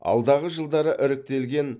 алдағы жылдары іріктелген